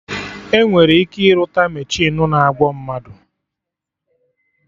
Enwere ike irụta mechinu na-agwo mmadụ